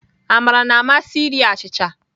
Amara na-amasị iri achịcha